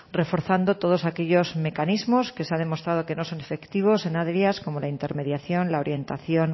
reforzando todos aquellos mecanismos que se han demostrado que no son efectivos en áreas como la intermediación la orientación